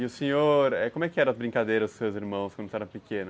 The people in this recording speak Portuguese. E o senhor, como é que eram as brincadeiras dos seus irmãos quando você era pequeno?